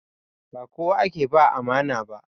Ba kowa ake ba amana ba.